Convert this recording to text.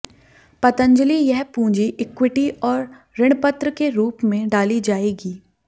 पतंजली यह पूंजी इक्विटी और ऋणपत्र के रूप में डाली जाएगी